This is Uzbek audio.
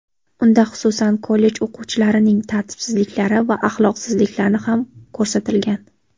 Unda, xususan, kollej o‘quvchilarining tartibsizliklari va axloqsizliklari ham ko‘rsatilgan.